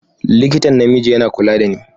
Likitan namiji yana kula da ni.